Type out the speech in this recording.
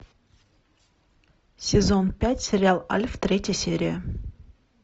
сезон пять сериал альф третья серия